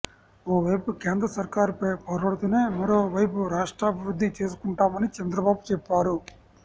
ఓ వైపు కేంద్ర సర్కారుపై పోరాడుతూనే మరో వైపు రాష్ట్రాభివృద్ధి చేసుకుంటామని చంద్రబాబు చెప్పారు